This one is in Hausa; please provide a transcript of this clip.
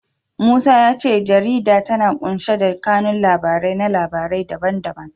Musa ya ce jarida tana ƙunshe da kanun labarai na labarai da ban da ban.